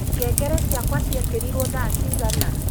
ngengere ciakwa ciekeriruo thaa cigana